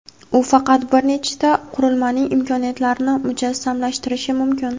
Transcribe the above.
u faqat bir nechta qurilmaning imkoniyatlarini mujassamlashtirishi mumkin.